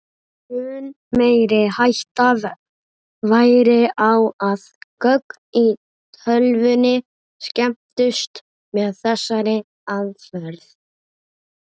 Mun meiri hætta væri á að gögn í tölvunni skemmdust með þessari aðferð.